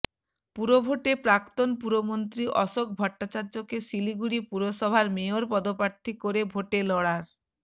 পুরভোটে প্রাক্তন পুরমন্ত্রী অশোক ভট্টাচার্যকে শিলিগুড়ি পুরসভার মেয়র পদপ্রার্থী করে ভোটে লড়ার